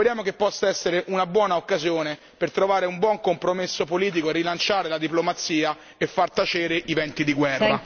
Speriamo che possa essere una buona occasione per trovare un buon compromesso politico, rilanciare la diplomazia e far tacere i venti di guerra.